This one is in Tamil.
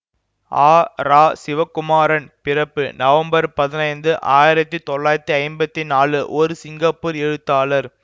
ஆ ரா சிவகுமாரன் பிறப்பு நவம்பர் பதினைந்து ஆயிரத்தி தொள்ளாயிரத்தி ஐம்பத்தி நாலு ஒரு சிங்கப்பூர் எழுத்தாளர்